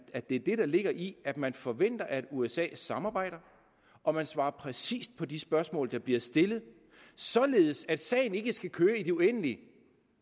at det er det der ligger i at man forventer at usa samarbejder og svarer præcist på de spørgsmål der bliver stillet således at sagen ikke skal køre i det uendelige